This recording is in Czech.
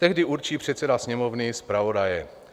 Tehdy určí předseda Sněmovny zpravodaje.